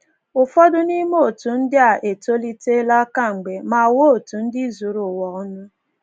Ụfọdụ n’ime òtù ndị a etolitela kemgbe ma ghọọ òtù ndị zuru ụwa ọnụ.